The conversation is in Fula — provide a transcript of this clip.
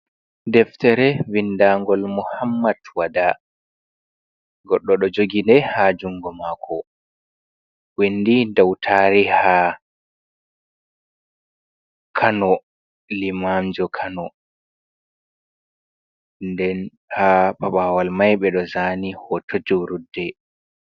Deftere vindaa ngol Muhammad Wada goɗɗo ɗo jogi ndei ha jungo mako windi dou tariha Kano Limanjo Kano nden ha paɓɓawal mai ɓeɗo zaani hoto julurde.